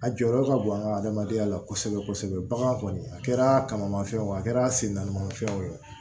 A jɔyɔrɔ ka bon an ka adamadenya la kosɛbɛ kosɛbɛ bakan kɔni a kɛra kamanmafɛn wo a kɛra sen naanimafɛn o